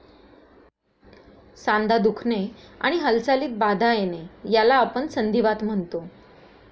सांधा दुखणे आणि हालचालीत बाधा येणे याला आपण संधीवात म्हणतो.